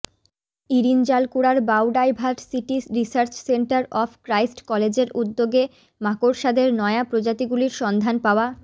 ইরিনজালকুড়ার biodiversity research centre of Christ কলেজের উদ্যোগে মাকড়সাদের নয়া প্রজাতিগুলির সন্ধান পাওয়া